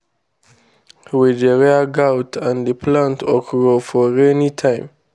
we dey rear goat and plant okro for rainy time.